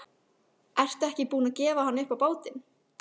Ertu ekki búin að gefa hann upp á bátinn?